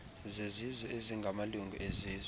zezizwe ezingamalungu ezizwe